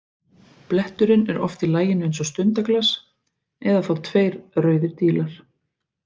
Bletturinn er oft í laginu eins og stundaglas eða þá tveir rauðir dílar.